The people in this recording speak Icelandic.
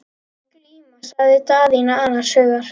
Glíma, sagði Daðína annars hugar.